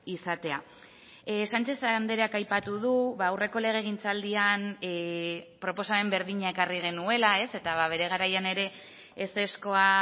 izatea sánchez andreak aipatu du aurreko legegintzaldian proposamen berdina ekarri genuela eta bere garaian ere ezezkoa